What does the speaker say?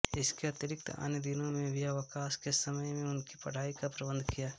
इसके अतिरिक्त अन्य दिनों में भी अवकाश के समय में उनकी पढ़ाई का प्रबंध किया